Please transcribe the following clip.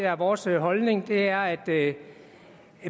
at vores holdning er at